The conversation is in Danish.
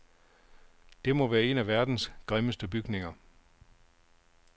Det må være en af verdens grimmeste bygninger.